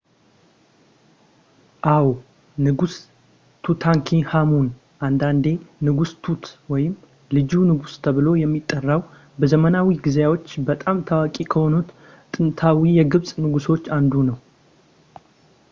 አዎ ንጉስ ቱታንክሃሙን አንዳንዴ ንጉስ ቱት ወይም ልጁ ንጉስ ተብሎ የሚጠራው በዘመናዊ ጊዜዎች በጣም ታዋቂ ከሆኑት ጥንታዊ የግብጽ ንጉሶች አንዱ ነው